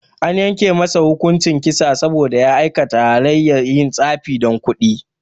An yanke masa hukuncin kisa saboda ya aikata halayyar yin tsafi dan kudi